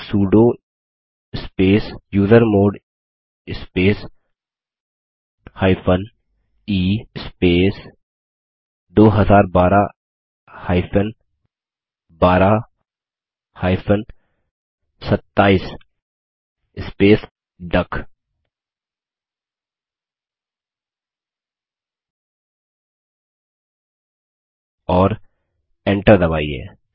sudo space usermod space e space 2012 12 27 space duck और enter दबाइए